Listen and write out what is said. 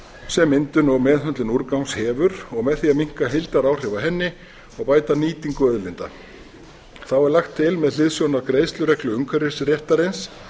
sem myndun og meðhöndlun úrgangs hefur og með því að minnka heildaráhrif á henni og bæta nýtingu auðlinda þá er lagt til með hliðsjón af greiðslureglu umhverfisréttarins